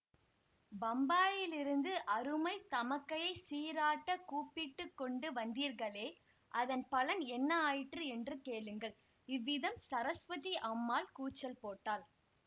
பம்பாயிலிருந்து அருமைத் தமக்கையைச் சீராட்டக் கூப்பிட்டு கொண்டு வந்தீர்களே அதன் பலன் என்ன ஆயிற்று என்று கேளுங்கள் இவ்விதம் சரஸ்வதி அம்மாள் கூச்சல் போட்டாள்